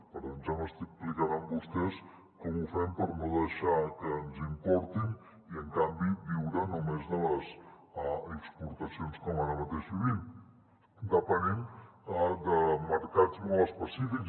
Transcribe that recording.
per tant ja m’explicaran vostès com ho fem per no deixar que ens importin i en canvi viure només de les exportacions com ara mateix vivim depenent de mercats molt específics